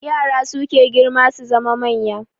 Yara suke girma su zama manya